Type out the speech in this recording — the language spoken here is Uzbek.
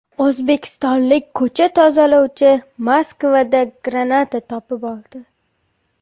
O‘zbekistonlik ko‘cha tozalovchi Moskvada granata topib oldi.